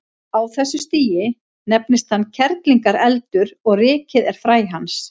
Á þessu stigi nefnist hann kerlingareldur og rykið er fræ hans.